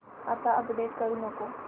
आता अपडेट करू नको